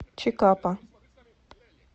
чикапа